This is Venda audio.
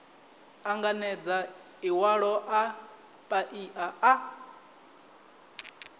anganedza iwalo a paia a